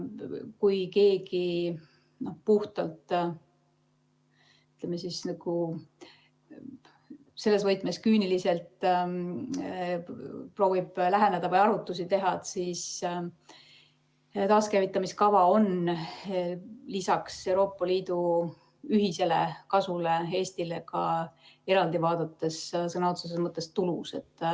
Kui keegi, ütleme, selles võtmes küüniliselt proovib läheneda või arvutusi teha, siis taaskäivitamise kava on lisaks sellele, et Euroopa Liit saab ühiselt kasu, Eestile ka eraldi vaadates sõna otseses mõttes tulus.